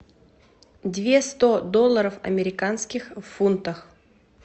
две сто долларов американских в фунтах